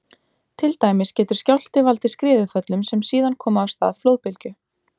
Til dæmis getur skjálfti valdið skriðuföllum sem síðan koma af stað flóðbylgju.